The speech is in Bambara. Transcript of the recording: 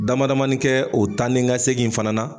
Dama damani kɛ o taa ni ka segin fana na